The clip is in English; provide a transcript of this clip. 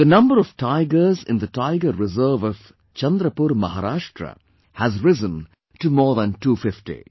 The number of tigers in the Tiger Reserve of Chandrapur, Maharashtra has risen to more than 250